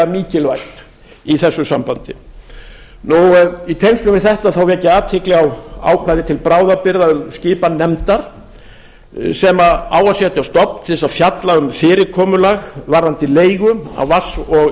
mikilvægt í þessu sambandi í tengslum við þetta vek ég athygli á ákvæði til bráðabirgða um skipan nefndar sem á að setja á stofn til þess að fjalla um fyrirkomulag varðandi leigu á vatns og